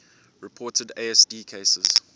reported asd cases